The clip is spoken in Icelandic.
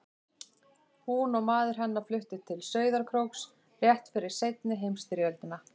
Hún og maður hennar fluttu til Sauðárkróks rétt fyrir seinni heimsstyrjöldina.